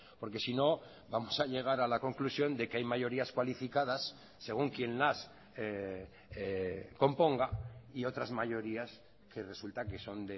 porque si no vamos a llegar a la conclusión de que hay mayorías cualificadas según quien las componga y otras mayorías que resulta que son